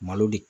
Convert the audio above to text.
Malo de